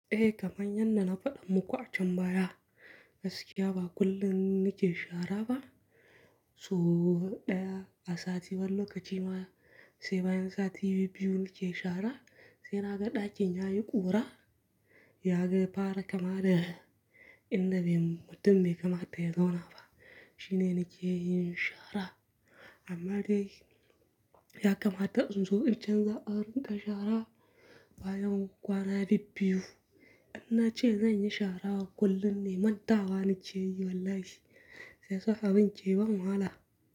Eh, kaman yanda na faɗa muka a can baya. Gaskiya ba kullum nake shara ba. So ɗaya a sati wani lokaci ma sai bayan sati bibbiyu nake shara. Sai naga ɗakin yayi ƙura. Naga ya fara kama da indamutum bai kamata ya zauna ba. Shine nake yin shara. Amma dai ya kamata in zo in canza adon da shaara bayan kwana bibbiyu. Inna ce zan yi shaara kullum ne mantawa nakeyi wallahi. Yanzu shararce tana wahala.